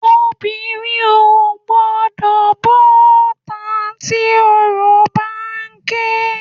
Obìnrin ò gbọ́dọ̀ bọ́ta tí oró bá ń ké.